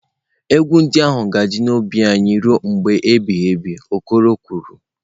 "Egwu ndị ahụ ga-adị n'ime obi anyị ruo mgbe ebighị ebi" okoro kwuru